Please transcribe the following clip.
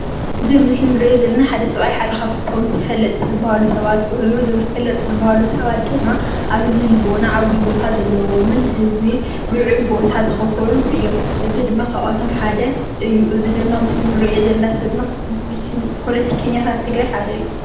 እዚ ኣብ ምስል እንሪኦ ዘለና ሓደ ሰብኣይ ሓደ ካብቶም ተፈለጥቲ ዝባሃሉ ሰባት ተፈለጥቲ ሰባት ኮይኑ እዞም ተፈለጥቲ ዝብሃሉ ሰባት ድማ ኣብ ህዝቢ ዓብይ ቦታ ዘለዎምን ህዝቢ ልዑል ቦታ ዝከፈልሉ እዮም፡፡ እዚ ድማ ካብኣቶም ሓደ እዩ፡፡ እዚ ድማ እንሪኦ ዘለና ፖለቲከኛታት ትግራይ ሓደ እዩ፡፡